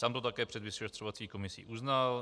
Sám to také před vyšetřovací komisí uznal.